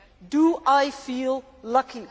do I feel lucky?'